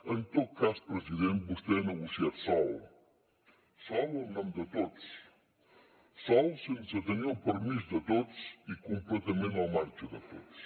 en tot cas president vostè ha negociat sol sol o en nom de tots sol sense tenir el permís de tots i completament al marge de tots